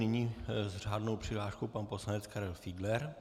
Nyní s řádnou přihláškou pan poslanec Karel Fiedler.